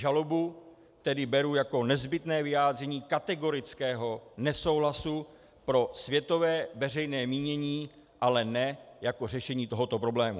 Žalobu tedy beru jako nezbytné vyjádření kategorického nesouhlasu pro světové veřejné mínění, ale ne jako řešení tohoto problému.